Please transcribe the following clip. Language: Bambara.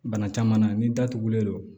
Bana caman na n'i datugulen don